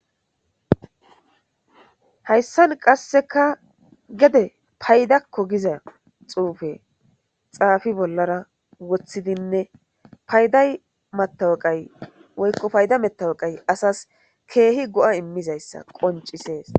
Hayssan qasseka gede paydakko giza xuufe xaafi bollara woththidinne payday mataweqay woykko payda metaweqay asas keehi go'i mmizayssa qoncisees.